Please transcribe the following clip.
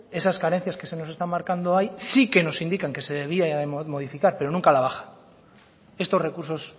esas carencias que se nos están marcando ahí sí que nos indican que se debiera de modificar pero nunca a la baja estos recursos